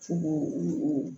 Fogo o